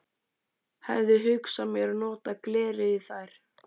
Hefi hugsað mér að nota glerið í þær.